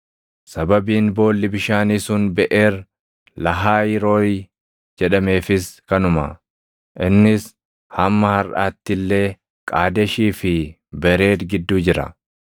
Sababiin boolli bishaanii sun, “Beʼeer Lahaayirooʼii” jedhameefis kanuma. Innis hamma harʼaatti illee Qaadeshii fi Bereed gidduu jira.